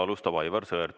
Alustab Aivar Sõerd.